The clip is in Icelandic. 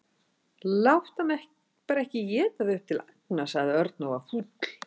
Láttu hana bara ekki éta þig upp til agna sagði Örn og var fúll.